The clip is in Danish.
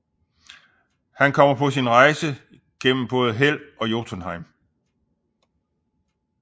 Han kommer på sin rejse igennem både Hel og Jotunheim